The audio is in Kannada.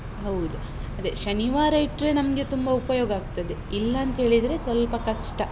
ಹೌದು ಅದೇ, ಶನಿವಾರ ಇಟ್ರೆ, ನಮ್ಗೆ ತುಂಬ ಉಪಯೋಗ ಆಗ್ತದೆ. ಇಲ್ಲ ಅಂತ ಹೇಳಿದ್ರೆ ಸ್ವಲ್ಪ ಕಷ್ಟ.